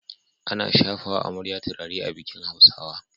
Ana shafawa amarya turare a bikin Hausawa